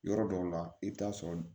Yɔrɔ dɔw la i bɛ taa sɔrɔ